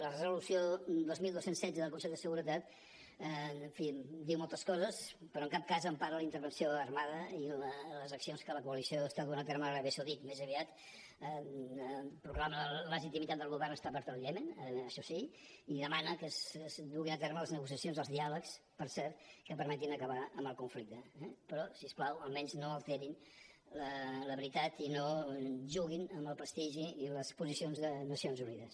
la resolució dos mil dos cents i setze del consell de seguretat en fi diu moltes coses però en cap cas empara la intervenció armada i les accions que la coalició està duent a terme a l’aràbia saudita més aviat proclama la legitimitat del govern establert al iemen això sí i demana que es duguin a terme les negociacions els diàlegs per cert que permetin acabar amb el conflicte eh però si us plau almenys no alterin la veritat i no juguin amb el prestigi i les posicions de nacions unides